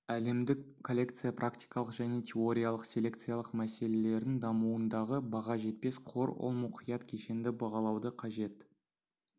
әлемдік коллекция практикалық және теориялық селекциялық мәселелердің дамуындағы баға жетпес қор ол мұқият кешенді бағалауды қажет